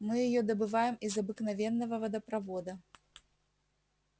мы её добываем из обыкновенного водопровода